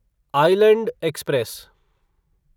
island express